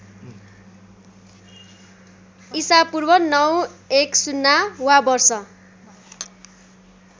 ईपू ९१० वा वर्ष